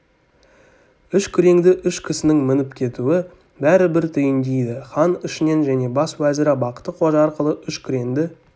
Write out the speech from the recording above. үш күреңді үш кісінің мініп кетуі бәрі бір түйіндейді хан ішінен және бас уәзірі бақты-қожа арқылы үш күреңді